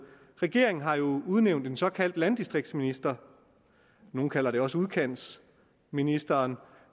regeringen har jo udnævnt en såkaldt landdistriktsminister nogle kalder det også udkantsministeren